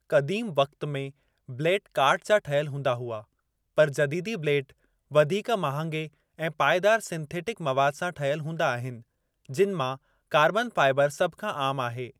क़दीमु वक़तु में ब्लेड काठु जा ठहियलु हूंदा हुआ, पर जदीदी ब्लेड वधीक महांगे ऐं पाएदार सिंथेटिक मवाद सां ठहियलु हूंदा आहिनि, जिनि मां कार्बन फ़ाइबर सभु खां आम आहे।